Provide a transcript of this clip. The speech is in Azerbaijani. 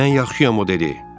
Mən yaxşıyam o dedi.